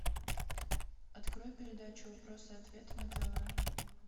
открой передачу вопросы и ответы на тв